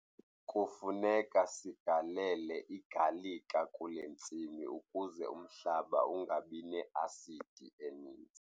Kufuneka sigalele igalika kule ntsimi ukuze umhlaba ungabi ne-asidi eninzi.